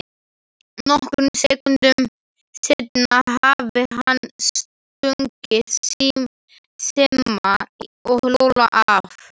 Nokkrum sekúndum seinna hafði hann stungið Simma og Lúlla af.